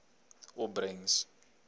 opbrengs